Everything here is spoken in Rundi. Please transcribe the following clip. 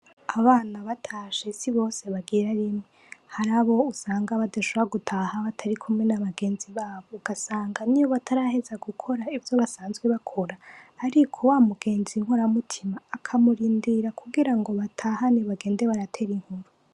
abana batashe sibose bagira rimwe harabo usanga badashobora gutaha batarikumwe nabagenzi babo ugasanga niyo bataraheza gukora ivyo basanzwe barakora ariko wamugenzi nkoramutima akamurindira kugira ngo batahane bagende baratera inkuru